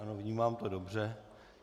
Ano, vnímám to dobře.